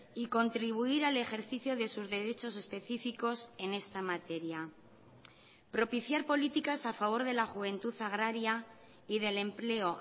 y contribuir al ejercicio de sus derechos específicos en esta materia propiciar políticas a favor de la juventud agraria y del empleo